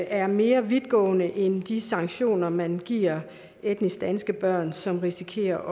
er mere vidtgående end de sanktioner man giver etnisk danske børn som risikerer